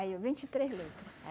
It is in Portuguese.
Aí eu, vinte e três letra